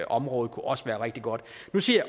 område også være rigtig godt nu siger